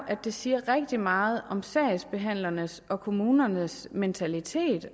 at det siger rigtig meget om sagsbehandlernes og kommunernes mentalitet